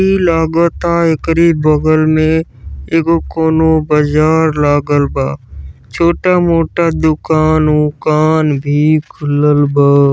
इ लागता एकरे बगल में एगो कउनो बाजार लागल बा। छोटा मोटा दूकान ऊकान भी खुलल बा।